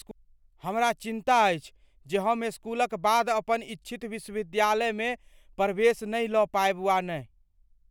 हमरा चिन्ता अछि जे हम इसकुलक बाद अपन इच्छित विश्वविद्यालयमे प्रवेश नहि लऽ पाएब वा नहि।